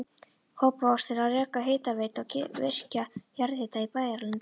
Kópavogs til að reka hitaveitu og virkja jarðhita í bæjarlandinu.